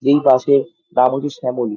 যেই বাস -এর নাম হচ্ছে শ্যামলী।